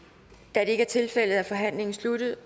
da det ikke er tilfældet er forhandlingen sluttet